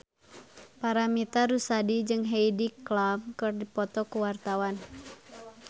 Paramitha Rusady jeung Heidi Klum keur dipoto ku wartawan